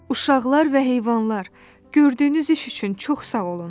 Uşaqlar və heyvanlar, gördüyünüz iş üçün çox sağ olun!